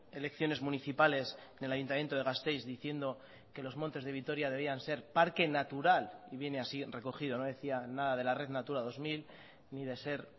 elecciones municipales del ayuntamiento de gasteiz diciendo que los montes de vitoria debían ser parque natural y viene así recogido no decía nada de la red natura dos mil ni de ser